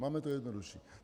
Máme to jednodušší.